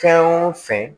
Fɛn o fɛn